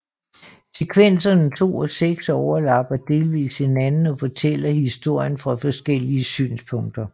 Sekvenserne 2 og 6 overlapper delvist hinanden og fortæller historien fra forskellige synsvinkler